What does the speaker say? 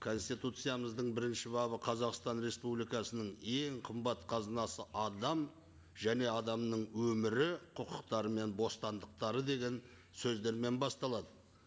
конституциямыздың бірінші бабы қазақстан республикасының ең қымбат қазынасы адам және адамның өмірі құқықтары мен бостандықтары деген сөздермен басталады